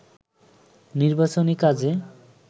নির্বাচনী কাজে